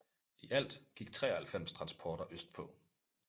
I alt gik 93 transporter østpå